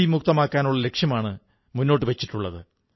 മുക്തമാക്കാനാണ് ലക്ഷ്യമിട്ടിട്ടുള്ളത്